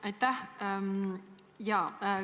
Aitäh!